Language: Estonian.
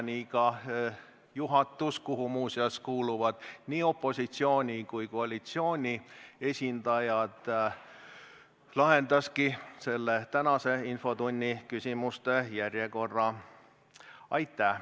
Nii siis juhatus, kuhu kuuluvad muuseas nii opositsiooni kui ka koalitsiooni esindajad, lahendaski tänase infotunni küsimuste järjekorra.